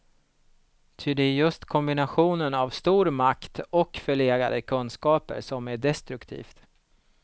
Ty det är just kombinationen av stor makt och förlegade kunskaper som är destruktivt.